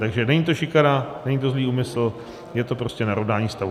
Takže není to šikana, není to zlý úmysl, je to prostě narovnání stavu.